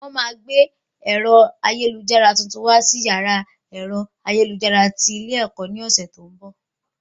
Wọ́n máa gbé ẹ̀rọ ayélujára tuntun wá sí yàrá ẹ̀rọ ayélujára tí ilé ẹ̀kọ́ ní ọ̀sẹ̀ tó ń bọ̀